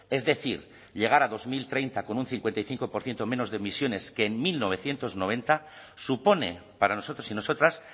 es decir llegar a dos mil treinta con un cincuenta y cinco por ciento menos de emisiones que en mil novecientos noventa supone para nosotros y nosotras